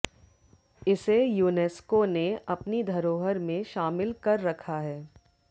इसे यूनेस्को ने अपनी धरोहर में शामिल कर रखा है